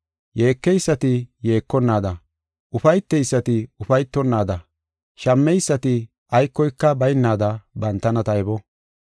Yeekeysati yeekonaada, ufayteysati ufaytonnaada, shammeysati aykoyka baynaada bantana taybo.